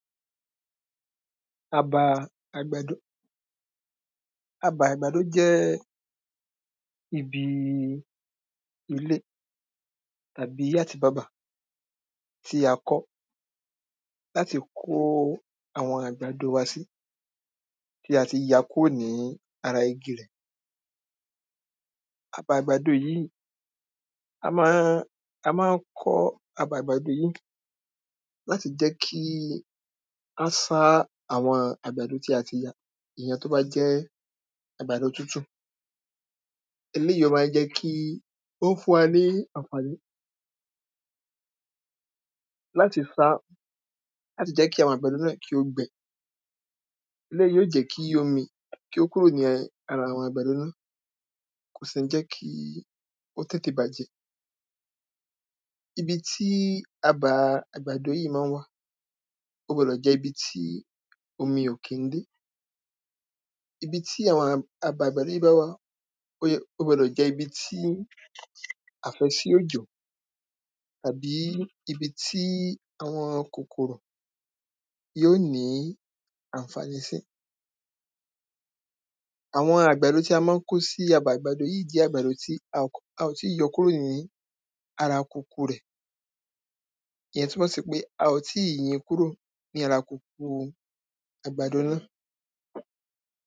abàa àgbàdo abà àgbàdo jẹ́ ibi ilé àbí àtibábà tí a kọ́ láti kó àwọn àgbàdo wa sí tí a ti ya kúrò ní ara igi rẹ̀ abà àgbàdo yìí a máa a máa ń kọ̀ọ́ abà àgbàdo yìí láti jẹ́ kí á sá àwọn àgbàdo tí a ti yà ìyẹn tí ó bá jẹ́ àgbàdo tútù eléyìí ó máa jẹ́ kí ó máa ń fún wa ní àǹfàní láti sá láti jẹ́ kí àwọn àgbàdo náà kí ó gbẹ eléyìí yóò jẹ̀ kí omi kí ó kúrò ní ara àwọn àgbàdo náà kò sì ń jẹ́ kí ó tètè bàjẹ́ ibi tí abàa àgbàdo yìí mọ́n ń wà ó gbọdọ̀ jẹ́ ibi tí omi ò kí ń dé ibi tí àwọn abà àgbàdo yìí máa wà kò gbọdọ̀ jẹ́ ibi tí àfẹ́sí òjò àbí ibi tí àwọn kòkòrò yóò ní àǹfàní sí àwọn àgbàdo tí a máa ń kó sí àwọn abà àgbàdo yìí jẹ́ àgbàdo tí a ò tíì yọ kúrò ní ara kùkù rẹ̀ ìyẹn túmọ̀sí pé a ò tíì yín kúrò ní ara kùkù àgbàdo náà.